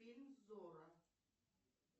фильм зорро